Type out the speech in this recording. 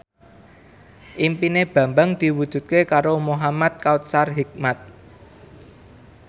impine Bambang diwujudke karo Muhamad Kautsar Hikmat